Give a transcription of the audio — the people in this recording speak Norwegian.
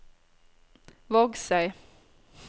Vågsøy